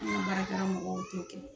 An ka baarakɛyɔrɔ mɔgɔw t'o kɛ.